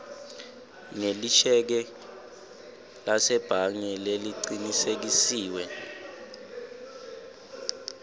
ngelisheke lasebhange lelicinisekisiwe